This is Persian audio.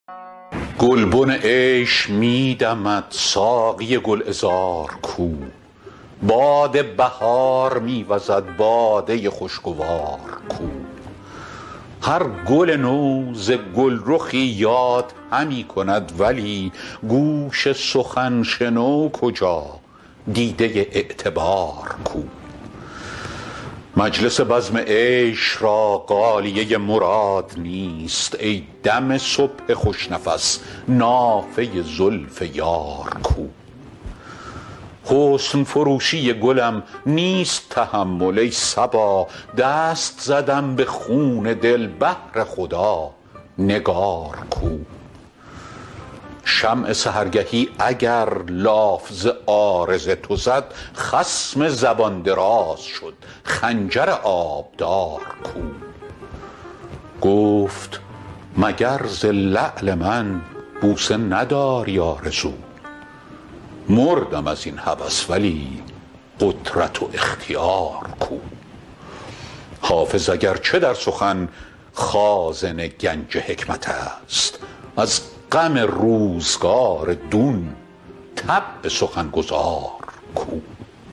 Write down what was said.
گلبن عیش می دمد ساقی گل عذار کو باد بهار می وزد باده خوش گوار کو هر گل نو ز گل رخی یاد همی کند ولی گوش سخن شنو کجا دیده اعتبار کو مجلس بزم عیش را غالیه مراد نیست ای دم صبح خوش نفس نافه زلف یار کو حسن فروشی گلم نیست تحمل ای صبا دست زدم به خون دل بهر خدا نگار کو شمع سحرگهی اگر لاف ز عارض تو زد خصم زبان دراز شد خنجر آبدار کو گفت مگر ز لعل من بوسه نداری آرزو مردم از این هوس ولی قدرت و اختیار کو حافظ اگر چه در سخن خازن گنج حکمت است از غم روزگار دون طبع سخن گزار کو